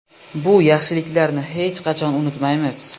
Bu yaxshiliklarni hech qachon unutmaymiz”.